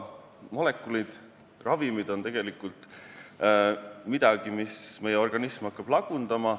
Molekulid, ravimid on tegelikult midagi, mida meie organism hakkab lagundama.